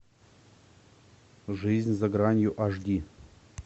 жизнь за гранью аш ди